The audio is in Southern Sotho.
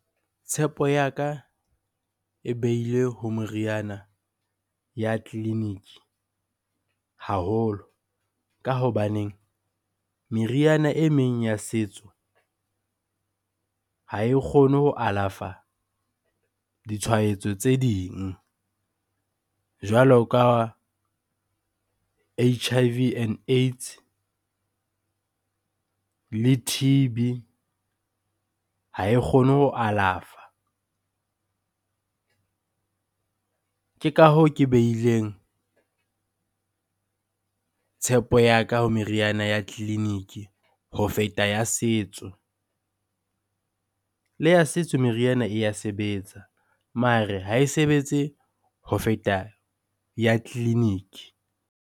Tshepo ya ka e behile ho meriana ya tleliniki haholo ka hobaneng meriana e meng ya setso ha e kgone ho alafa ditshwaetso tse ding jwalo ka H_I_V, and AIDS le T_B ha e kgone ho alafa. Ke ka hoo ke beileng tshepo ya ka ho meriana ya tleliniki ho feta ya setso. Le ya setso meriana e ya sebetsa mare ha e sebetse ho feta ya tleliniki.